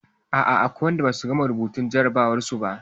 A'a akwai waɗanda ba su gama rubuta jarrabawarsu ba.